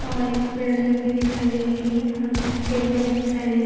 और एक पेरिंग भी दिखाई दे रही है अ कुछ पेड़ भी दिखाई दे रहे --